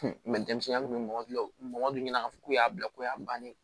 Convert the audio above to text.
denmisɛnnin kun bɛ mɔgɔ bila o mɔgɔ dɔ ɲɛna a fɔ k'u y'a bila ko y'a bannen